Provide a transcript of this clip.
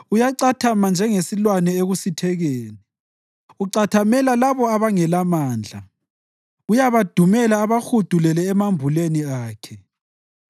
Uyacathama njengesilwane ekusithekeni; ucathamela labo abangelamandla; uyabadumela abahudulele emambuleni akhe.